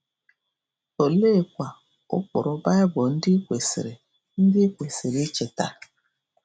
Oleekwa ụkpụrụ Baịbụl ndị i kwesịrị ndị i kwesịrị icheta?